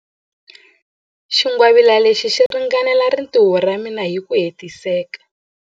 Xingwavila lexi xi ringanela rintiho ra mina hi ku hetiseka.